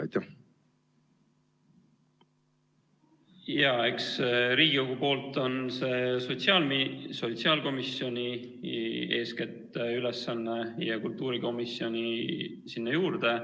Riigikogus on see eeskätt sotsiaalkomisjoni ülesanne ja kultuurikomisjon sinna juurde.